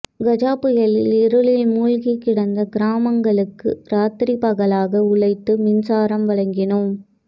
கஜா புயலில் இருளில் மூழ்கிக் கிடந்த கிராமங்களுக்கு ராத்திரிப்பகலாக உழைத்து மின்சாரம் வழங்கினோம்